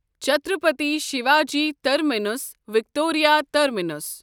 Chhatrapati Shivaji terminus Victoria terminus